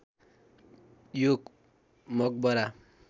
यो मकबरा